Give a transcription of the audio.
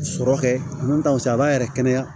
Sɔrɔ kɛ n'u t'aw fɛ a b'a yɛrɛ kɛnɛya